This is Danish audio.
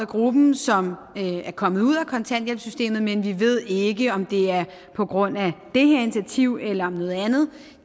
gruppen som er kommet ud af kontanthjælpssystemet men vi ved ikke om det er på grund af det her initiativ eller noget andet